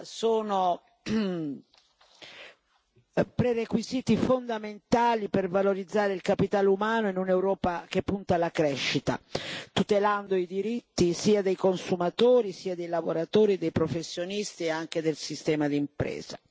sono prerequisiti fondamentali per valorizzare il capitale umano in un'Europa che punta alla crescita, tutelando i diritti sia dei consumatori sia dei lavoratori e dei professionisti e anche del sistema di impresa.